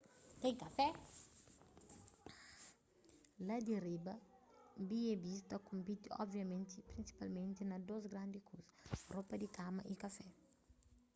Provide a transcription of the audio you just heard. la di riba b&bs ta konpiti obviamenti prinsipalmenti na dôs grandi kuza ropa di kama y kafé